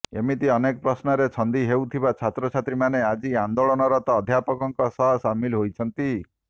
ଏମିତି ଅନେକ ପ୍ରଶ୍ନରେ ଛନ୍ଦି ହେଉଥିବା ଛାତ୍ରଛାତ୍ରୀମାନେ ଆଜି ଆନ୍ଦୋଳନରତ ଅଧ୍ୟାପକଙ୍କ ସହ ସାମିଲ୍ ହୋଇଛନ୍ତି